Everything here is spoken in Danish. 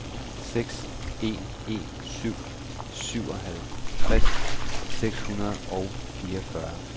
seks en en syv syvoghalvtreds seks hundrede og fireogfyrre